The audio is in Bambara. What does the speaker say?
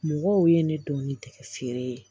Mɔgɔw ye ne dɔn ni tɛkɛ feere ye